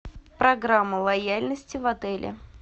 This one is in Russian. программа лояльности в отеле